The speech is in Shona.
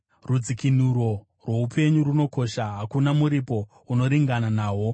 rudzikinuro rwoupenyu runokosha, hakuna muripo unoringana nahwo,